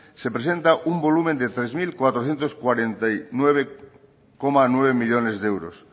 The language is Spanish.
se presenta un volumen de tres mil cuatrocientos cuarenta y nueve coma nueve millónes de euros